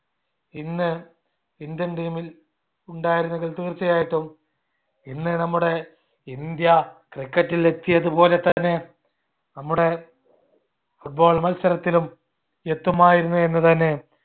ഇന്ന് indian team ൽ ഉണ്ടായിരുന്നെങ്കിൽ തീർച്ചയായിട്ടും ഇന്ന് നമ്മുടെ ഇന്ത്യ cricket ൽ എത്തിയത് പോലെത്തന്നെ നമ്മുടെ football മത്സരത്തിലും എത്തുമായിരുന്നു എന്ന്‌ തന്നെ